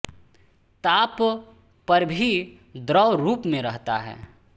ताप पर भी द्रव रूप में रहता है